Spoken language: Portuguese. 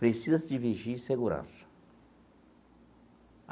Precisa-se de vigia e segurança.